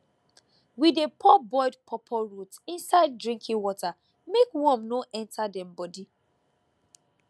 we dey pour boiled pawpaw root inside drinking water make worm no enter dem body